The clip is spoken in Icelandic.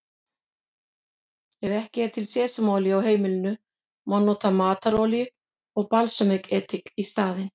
Ef ekki er til sesamolía á heimilinu má nota matarolíu og balsamedik í staðinn.